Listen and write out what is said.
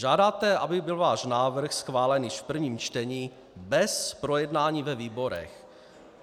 Žádáte, aby byl váš návrh schválen již v prvním čtení bez projednání ve výborech.